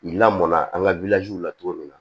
Lamɔn na an ka la cogo min na